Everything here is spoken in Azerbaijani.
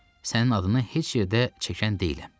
Sənin adını heç yerdə çəkən deyiləm.